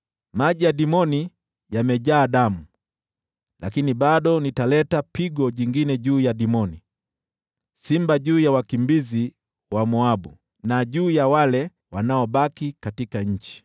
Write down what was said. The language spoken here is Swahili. Maji ya Dimoni yamejaa damu, lakini bado nitaleta pigo jingine juu ya Dimoni: simba juu ya wakimbizi wa Moabu na juu ya wale wanaobaki katika nchi.